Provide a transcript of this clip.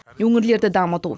өңірлерді дамыту